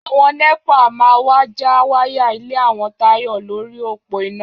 Àwọn nẹ́pà máa wá já wáyà ilé àwọn Táyọ̀ lórí òpó iná